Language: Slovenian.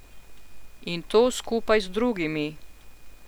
In to skupaj z drugimi...